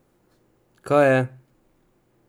Kaj je?